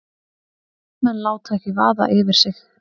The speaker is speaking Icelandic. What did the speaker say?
Menn láta ekki vaða yfir sig